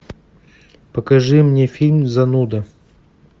покажи мне фильм зануда